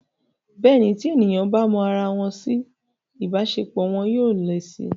Bẹ́ẹ̀ni, tí èèyàn bá mọ ara wọn si, ìbáṣepọ̀ wọn yóò le si